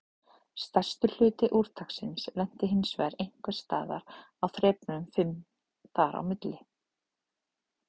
Stærstur hluti úrtaksins lenti hinsvegar einhvers staðar á þrepunum fimm þar á milli.